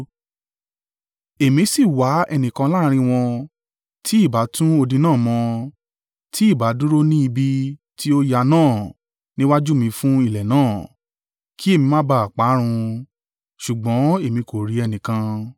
“Èmi si wá ẹnìkan láàrín wọn, tí ìbá tún odi náà mọ́, tí ìbá dúró ní ibi tí ó ya náà níwájú mi fún ilẹ̀ náà, kí èmi má bá à parun: ṣùgbọ́n èmi kò rí ẹnìkan.